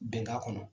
Bɛnkan kɔnɔ